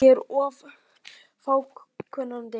Ég er of fákunnandi.